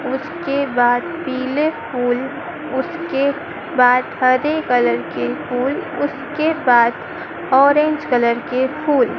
उसके बाद पीले फूल उसके बाद हरे कलर के फूल उसके बाद ऑरेंज कलर के फूल--